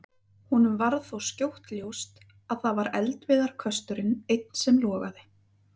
Honum varð þó skjótt ljóst að það var eldiviðarkösturinn einn sem logaði.